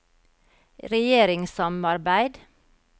regjeringssamarbeid